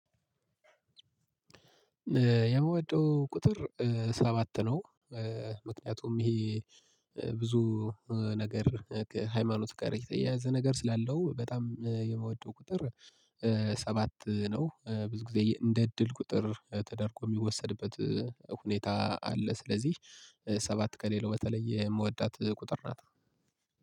የምወደው ቁጥር ሰባት ነው ምክንያቱም ይሄ ብዙ ነገር ከሃይማኖት ጋር የተያያዘ ነገር ስላለው በጣም የምወደው ቁጥር ሰባት ነው ብዙ ጊዜ የ እንደ እድል ቁጥር ተደርጎ የሚወሰድበት ሁኔታ አለ ስለዚህ ሰባት ከሌለው በተለየ የምወዳት ቁጥር ናት።